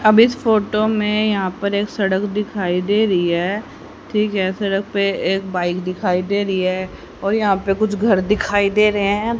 अब इस फोटो में यहां पर एक सड़क दिखाई दे रही है ठीक है सड़क पे एक बाइक दिखाई दे रही है और यहां पे कुछ घर दिखाई दे रहे हैं।